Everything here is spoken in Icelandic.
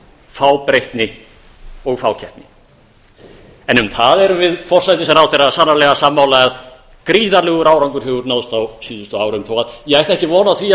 fábreytni og fákeppni en um það erum við forsætisráðherra sannarlega sammála að gríðarlegur árangur hefur náðst á síðustu árum þó að ég ætti ekki von á því